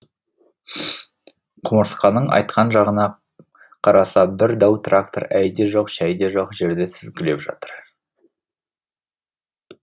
құмырсқаның айтқан жағына қараса бір дәу трактор әй де жоқ шәй де жоқ жерді сүзгілеп жатыр